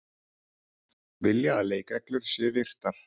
Vilja að leikreglur séu virtar